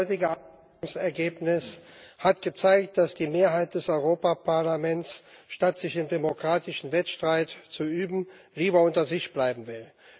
Das heutige Abstimmungsergebnis hat gezeigt, dass die Mehrheit des Europäischen Parlaments statt sich im demokratischen Wettstreit zu üben lieber unter sich bleiben will.